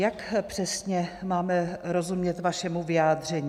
Jak přesně máme rozumět vašemu vyjádření?